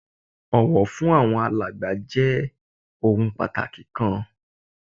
Ọ̀wọ̀ fún àwọn alàgbà jẹ́ ohun pàtàkì kan